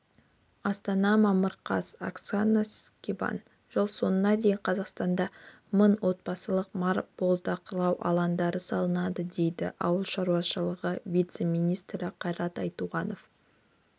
астана мамыр қаз оксана скибан жыл соңына дейін қазақстанда мың отбасылық мал бордақылау алаңдарын салады деді ауыл шаруашылығы вице-министрі қайрат айтуғанов